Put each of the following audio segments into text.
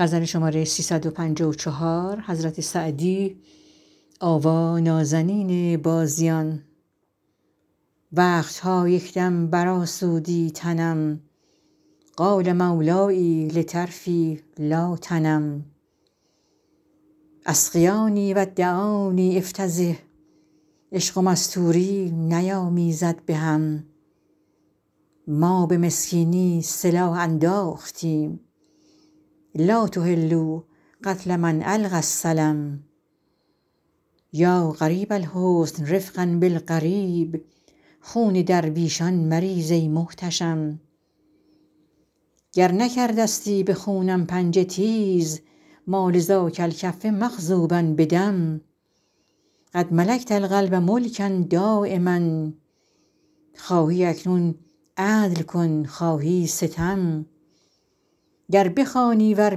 وقت ها یک دم برآسودی تنم قال مولای لطرفی لا تنم اسقیاني و دعاني أفتضح عشق و مستوری نیامیزد به هم ما به مسکینی سلاح انداختیم لا تحلوا قتل من ألقی السلم یا غریب الحسن رفقا بالغریب خون درویشان مریز ای محتشم گر نکرده ستی به خونم پنجه تیز ما لذاک الکف مخضوبا بدم قد ملکت القلب ملکا دایما خواهی اکنون عدل کن خواهی ستم گر بخوانی ور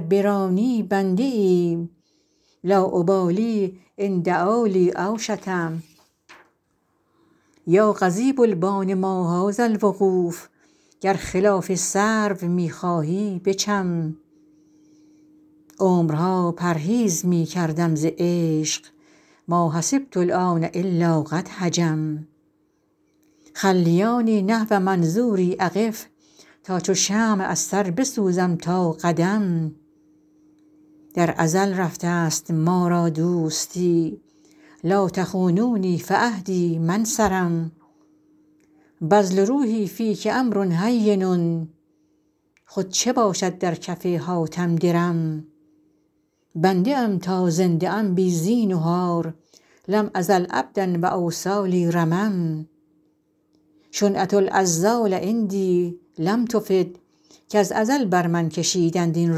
برانی بنده ایم لا أبالي إن دعا لی أو شتم یا قضیب البان ما هذا الوقوف گر خلاف سرو می خواهی بچم عمرها پرهیز می کردم ز عشق ما حسبت الآن إلا قد هجم خلیاني نحو منظوري أقف تا چو شمع از سر بسوزم تا قدم در ازل رفته ست ما را دوستی لا تخونونی فعهدی ما انصرم بذل روحي فیک أمر هین خود چه باشد در کف حاتم درم بنده ام تا زنده ام بی زینهار لم أزل عبدا و أوصالي رمم شنعة العذال عندي لم تفد کز ازل بر من کشیدند این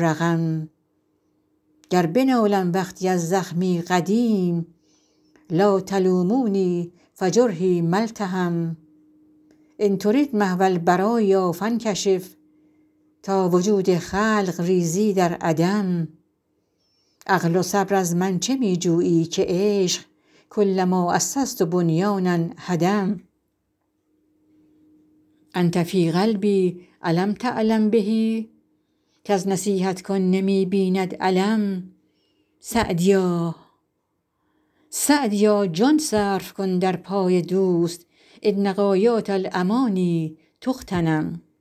رقم گر بنالم وقتی از زخمی قدیم لا تلوموني فجرحي ما التحم إن ترد محو البرایا فانکشف تا وجود خلق ریزی در عدم عقل و صبر از من چه می جویی که عشق کلما أسست بنیانا هدم أنت في قلبي أ لم تعلم به کز نصیحت کن نمی بیند الم سعدیا جان صرف کن در پای دوست إن غایات الأماني تغتنم